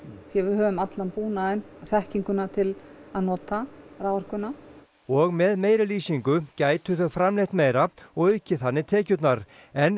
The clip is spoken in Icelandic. því við höfum allan búnaðinn og þekkinguna til að raforkuna og með meiri lýsingu gætu þau framleitt meira og aukið þannig tekjurnar en